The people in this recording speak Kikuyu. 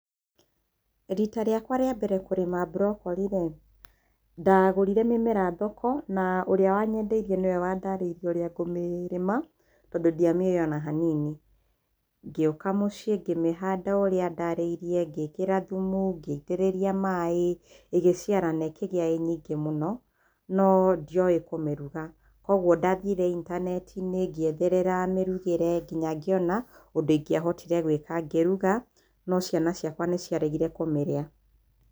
Rita rĩakwa rĩambere kũrĩma mbrokori-rĩ, ndagũrire mĩmera thoko na ũrĩa wanyendeirie nĩwe wandarĩirie ũrĩa ngũmĩrĩma tondũ ndiamĩũĩ ona hanini. Ngĩũka mũciĩ ngĩmĩhanda ũrĩa andarĩirie, ngĩkĩra thumu, ngĩitĩrĩria maĩ, ĩgĩciara na ĩkĩgĩa ĩ nyingĩ mũno no ndioĩ kũmĩruga kũoguo ndathire itanetinĩ ngĩetherera mĩrugĩre ngĩnya ngĩona ũndũ ingĩahotire gwĩka. Ngĩruga no ciana ciakwa nĩ ciaregire kũmĩrĩa.